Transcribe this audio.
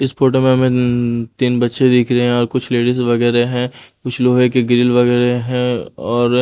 इस फोटो में हमें नन तीन बच्चे दिख रहे हैं और कुछ लेडीज वगैरह हैं कुछ लोहे के ग्रिल वगैरह हैं और--